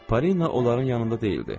Parina onların yanında deyildi.